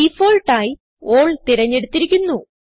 default ആയി ആൽ തിരഞ്ഞെടുത്തിരിക്കുന്നു